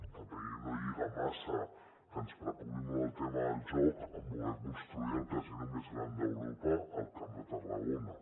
tampoc no lliga massa que ens preocupi molt el tema del joc amb voler construir el casino més gran d’europa al camp de tarragona